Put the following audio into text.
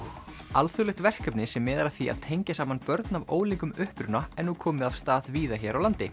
alþjóðlegt verkefni sem miðar að því að tengja saman börn af ólíkum uppruna er nú komið af stað víða hér á landi